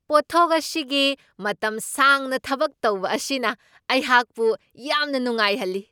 ꯄꯣꯠꯊꯣꯛ ꯑꯁꯤꯒꯤ ꯃꯇꯝ ꯁꯥꯡꯅ ꯊꯕꯛ ꯇꯧꯕ ꯑꯁꯤꯅ ꯑꯩꯍꯥꯛꯄꯨ ꯌꯥꯝꯅ ꯅꯨꯡꯉꯥꯏꯍꯜꯂꯤ꯫